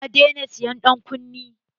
Na daina sa ƴan kunne.